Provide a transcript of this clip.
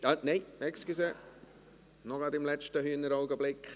Nein, er ist doch nicht einstimmig, gerade noch im letzten Hühneraugenblick.